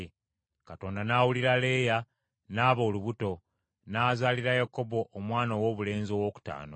Katonda n’awulira Leeya, n’aba olubuto, n’azaalira Yakobo omwana owoobulenzi owookutaano.